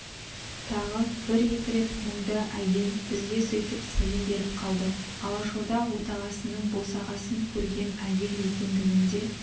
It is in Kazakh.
тағы бір-екі рет мұңды әйел бізге сөйтіп сәлем беріп қалды алашорда отағасының босағасын көрген әйел екендігінде